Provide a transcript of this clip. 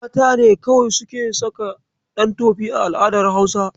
Mata ne kawai suke saka ɗantofi a al'adar Hausa.